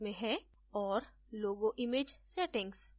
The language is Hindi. और logo image settings